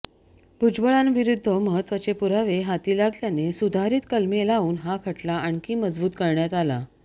भुजबळांविरुद्ध महत्त्वाचे पुरावे हाती लागल्याने सुधारित कलमे लावून हा खटला आणखी मजबूत करण्यात आला